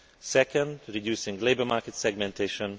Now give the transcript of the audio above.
second, reducing labour market segmentation